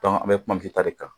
an bɛ kuma ta de kan.